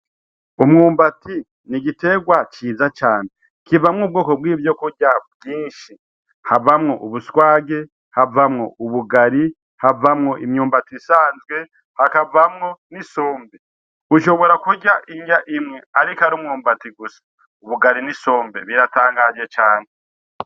Umwumbati ni igiterwa ciza cane kivamwo ubwoko bw'ivyo kurya bwinshi havamwo ubuswage havamwo ubugari havamwo imyumbati isanzwe hakavamwo n'isombe ushobora kurya indya imwe, ariko ari umwumbati gusa ubugari n'isombe biratangaje cane.